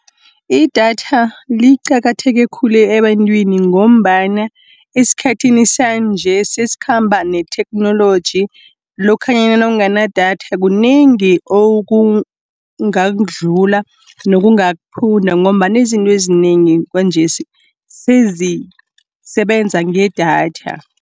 Idatha liqakatheke khulu ebantwini, ngombana esikhathini sanje, sesikhamba netheknoloji. Lokhanyana nawunganadatha kunengi okungakudlula, nokungakuphunda ngombana izinto ezinengi kwanjesi sezisebenza ngedatha.